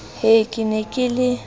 ha ke ne ke le